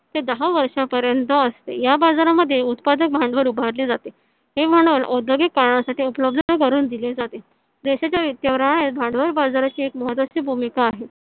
ते दहा वर्षापर्यंत असते. या बाजारामध्ये उत्पादक भांडवल उभारले जाते हे भांडवल औद्योगिक कारणासाठी उपलब्ध करून दिले जाते. देशाच्या भांडवल बाजाराची एक महत्त्वाची भूमिका आहे.